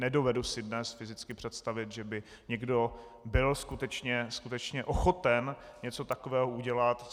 Nedovedu si dnes fyzicky představit, že by někdo byl skutečně ochoten něco takového udělat.